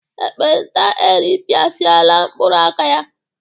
Ekpenta eripịasịala mkpụrụ aka ya.